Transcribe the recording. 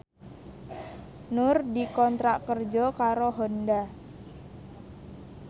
Nur dikontrak kerja karo Honda